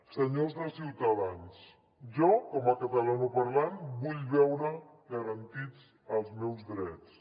senyors de ciutadans jo com a catalanoparlant vull veure garantits els meus drets